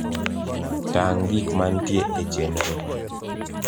tang` gik mantie e chenro